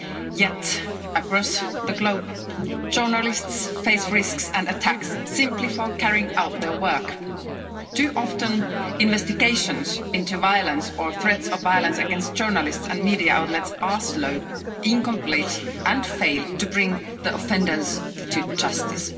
Yet across the globe, journalists face risks and attacks simply for carrying out their work. Too often investigations into violence or threats of violence against journalists and media outlets are slow, incomplete and fail to bring the offenders to justice.